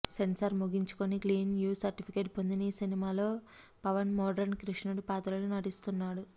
censor ముగించుకొని clean U certificate పొందిన ఈ సినిమాలో పవన్ మోడ్రన్ కృష్ణుడి పాత్రలో నటిస్తున్నాడు